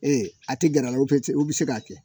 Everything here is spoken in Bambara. a tɛ gɛrɛ la u bɛ se u bɛ k'a kɛ